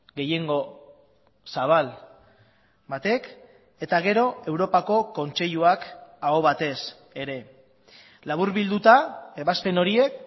gehiengo zabal batek eta gero europako kontseiluak ahobatez ere laburbilduta ebazpen horiek